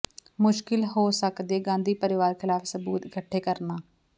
ਮੁਸ਼ਕਿਲ ਹੋ ਸਕਦੈ ਗਾਂਧੀ ਪਰਿਵਾਰ ਖ਼ਿਲਾਫ਼ ਸਬੂਤ ਇਕੱਠੇ ਕਰਨਾ